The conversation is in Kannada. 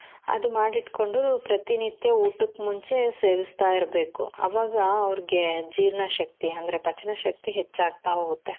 ಅದು ಮಾಡಿಟ್ಕೊಂಡು ಪ್ರತಿನಿತ್ಯ ಊಟಕ್ಕ್ ಮುಂಚೆ ಸೇವಿಸ್ತಾ ಇರ್ಬೇಕು ಆವಾಗ ಅವ್ರ್ಗೆ ಜೀರ್ಣ ಶಕ್ತಿ ಅಂದ್ರೆ ಪಚನ ಶಕ್ತಿ ಹೆಚ್ಚಾಗ್ತಾ ಹೋಗುತ್ತೆ .